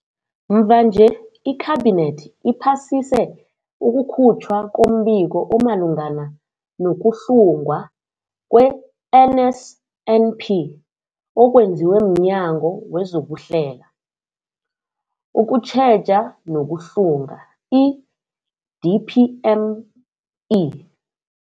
Mvanje, iKhabinethi iphasise ukukhutjhwa kombiko omalungana nokuhlungwa kwe-NSNP okwenziwe mNyango wezokuHlela, ukuTjheja nokuHlunga, i-DPME.